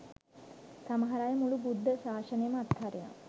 සමහර අය මුළු බුද්ධ ශාසනයම අත්හරිනවා.